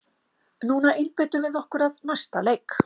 Núna einbeitum við okkur að næsta leik!